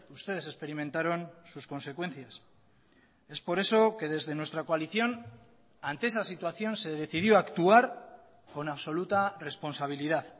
ustedes experimentaron sus consecuencias es por eso que desde nuestra coalición ante esa situación se decidió actuar con absoluta responsabilidad